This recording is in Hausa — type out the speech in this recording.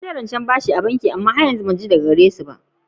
Na yi tambayan aro daga banki amma ban ji daga wurin su ba har yanzu.